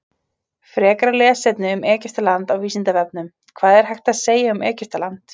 Frekara lesefni um Egyptaland á Vísindavefnum: Hvað er hægt að segja um Egyptaland?